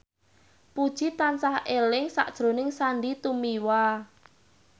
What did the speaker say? Puji tansah eling sakjroning Sandy Tumiwa